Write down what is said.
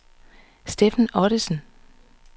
Steffen Ottesen